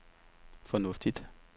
fornuftigt